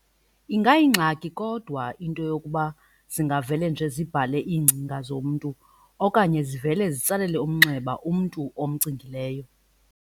Ingayingxaki kodwa into yokuba zingavele nje zibhale iingcinga zomntu okanye zivele zitsalele umnxeba umntu omgcinileyo.